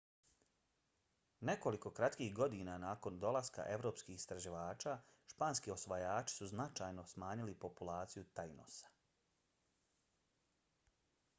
nekoliko kratkih godina nakon dolaska evropskih istraživača španski osvajači su značajno smanjili populaciju tainosa